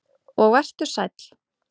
Og vertu sæll.